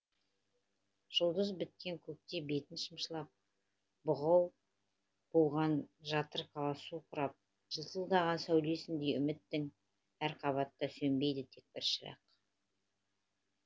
жұлдыз біткен көкте бетін шымшылап бұғау буған жатыр қала су сұрап жылтылдаған сәулесіндей үміттің әр қабатта сөнбейді тек бір шырақ